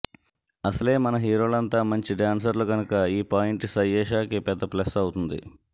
అసలే మన హీరోలంతా మంచి డాన్సర్లు కనుక ఈ పాయింట్ సయ్యేషాకి పెద్ద ప్లస్ అవుతుంది